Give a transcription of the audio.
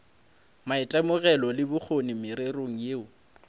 maitemogelo le bokgoni mererong yeo